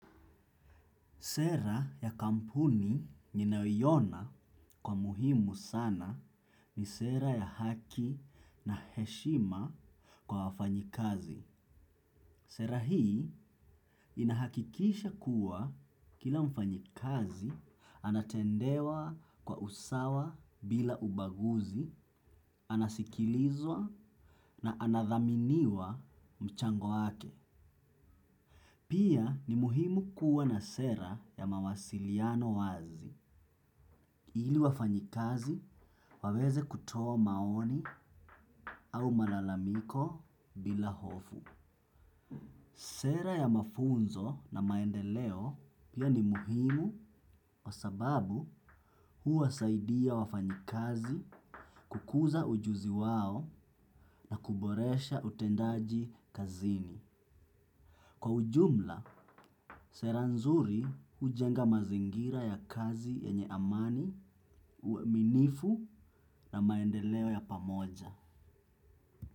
Sera ya kampuni ninayoiona kwa muhimu sana ni sera ya haki na heshima kwa wafanyikazi. Sera hii inahakikisha kuwa kila mfanyikazi anatendewa kwa usawa bila ubaguzi, anasikilizwa na anathaminiwa mchango wake. Pia ni muhimu kuwa na sera ya mawasiliano wazi ili wafanyikazi waweze kutoa maoni au malalamiko bila hofu. Sera ya mafunzo na maendeleo pia ni muhimu kwa sababu huwasaidia wafanyikazi kukuza ujuzi wao na kuboresha utendaji kazini. Kwa ujumla, sera nzuri hujenga mazingira ya kazi yenye amani, uaminifu na maendeleo ya pamoja.